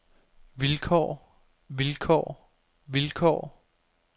vilkår vilkår vilkår